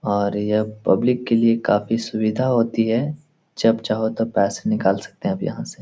और यह पब्लिक के लिए काफी सुविधा होती है जब चाहो तब पैसे निकाल सकते हैं आप यहाँ से।